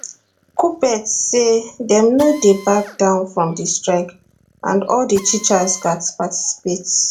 kuppet say dem no dey back down from di strike and all di teachers gatz participate